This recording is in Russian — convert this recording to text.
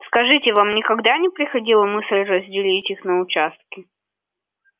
скажите вам никогда не приходила мысль разделить их на участки